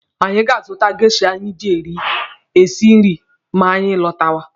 Anyị ga-azụta geisha anyị ji esi nri ma anyị lọtawa.